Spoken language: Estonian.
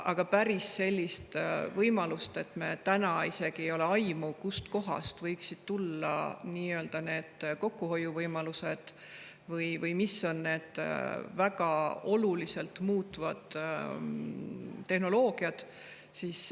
Aga meil täna isegi ei ole aimu, kust kohast võiksid tulla need kokkuhoiuvõimalused või mis on need väga oluliselt muutvad tehnoloogiad.